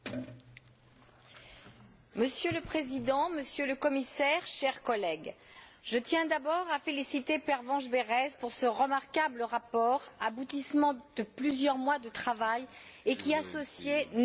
Monsieur le Président, Monsieur le Commissaire, chers collègues, je tiens d'abord à féliciter Pervenche Berès pour ce remarquable rapport, aboutissement de plusieurs mois de travail, et qui associait neuf commissions parlementaires.